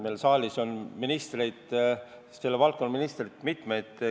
Siin saalis on mitmeid selle valdkonna ministreid.